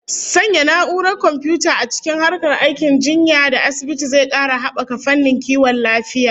Sanya na'urar komfiyuta a cikin harkar aikin jinya da asibiti zai kara habaka fannin kiwon lafiya